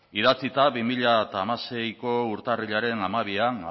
bi mila hamaseiko urtarrilaren hamabian